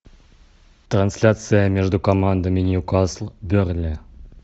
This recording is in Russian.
трансляция между командами ньюкасл бернли